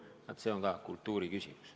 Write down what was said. Vaat see on ka kultuuriküsimus.